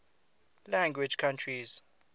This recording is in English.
language countries